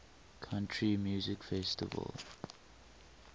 country music festival